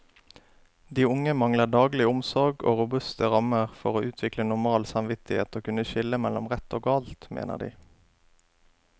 De unge mangler daglig omsorg og robuste rammer for å utvikle normal samvittighet og kunne skille mellom rett og galt, mener de.